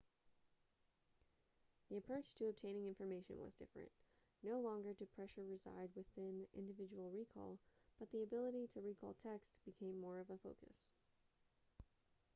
the approach to obtaining information was different no longer did pressure reside within individual recall but the ability to recall text became more of a focus